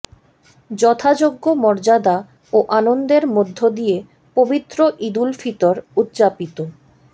যথাযোগ্য মর্যাদা ও আনন্দের মধ্যদিয়ে পবিত্র ঈদুল ফিতর উদযাপিত